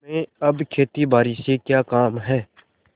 तुम्हें अब खेतीबारी से क्या काम है